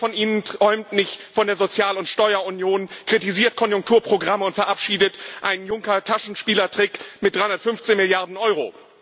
Wer von Ihnen träumt nicht von der Sozial und Steuerunion, kritisiert Konjunkturprogramme und verabschiedet einen Juncker Taschenspielertrick mit 315 Milliarden Euro?